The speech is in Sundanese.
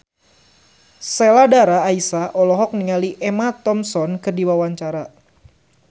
Sheila Dara Aisha olohok ningali Emma Thompson keur diwawancara